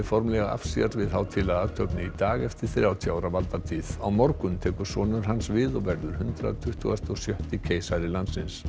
formlega af sér við hátíðlega athöfn í dag eftir þrjátíu ára valdatíð á morgun tekur sonur hans við og verður hundrað tuttugasta og sjötta keisari landsins